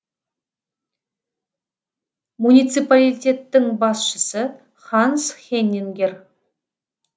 муниципалитеттің басшысы ханс хеннингер